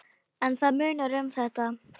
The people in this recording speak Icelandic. En það munar um þetta.